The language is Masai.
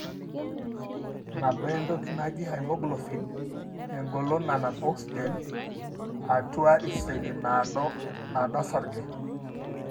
Enabaa entoki naaji haemoglobin(engolon nanap oxygen) atua iseli nadoo osarge.